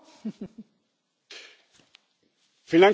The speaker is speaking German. Frau Präsidentin, Herr Kommissar, liebe Kolleginnen und Kollegen.